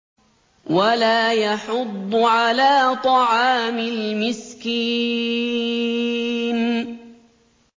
وَلَا يَحُضُّ عَلَىٰ طَعَامِ الْمِسْكِينِ